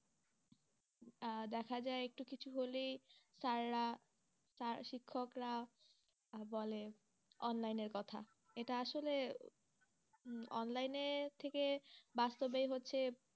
আহ দেখা যায় একটু কিছু হলেই sir রা শিক্ষকরা আর বলে online এর কথা এটা আসলে online এর থেকে বাস্তবেই হচ্ছে